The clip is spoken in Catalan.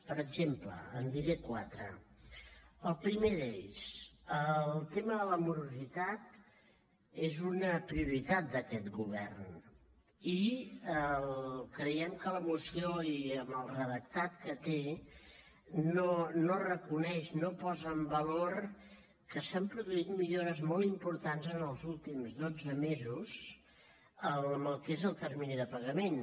per exemple en diré quatre el primer d’ells el tema de la morositat és una prioritat d’aquest govern i creiem que la moció i amb el redactat que té no reconeix no posa en valor que s’han produït millores molt importants en els últims dotze mesos en el que és el termini de pagament